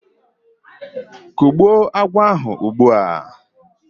Kùgbụ́o agwọ̀ ahụ ugbu a!